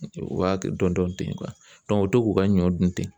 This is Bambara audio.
U b'a kɛ dɔɔnin dɔɔni u bɛ to k'u ka ɲɔ dun ten.